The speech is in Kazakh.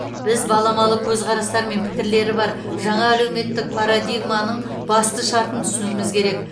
біз баламалы көзқарастар мен пікірлері бар жаңа әлеуметтік парадигманың басты шартын түсінуіміз керек